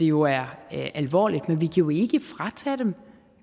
jo er alvorligt men vi jo ikke fratage dem